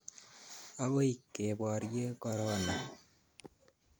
Akoi keporye korona